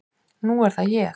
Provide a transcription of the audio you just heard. Nú er það ég.